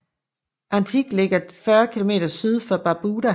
Antigua ligger 40 km syd for Barbuda